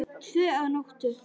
Tvö að nóttu